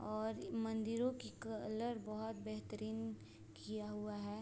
और मंदिरो की कलर बहोत बेहतरीन किया हुआ है।